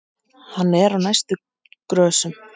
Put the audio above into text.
Hann er á næstu grösum.